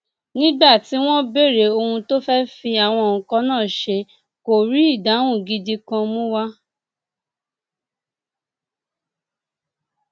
nígbà tí wọn béèrè ohun tó fẹẹ fi àwọn nǹkan náà ṣe kó rí ìdáhùn gidi kan mú wa